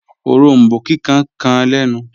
Òrombó kíkan kàn lẹ̀nu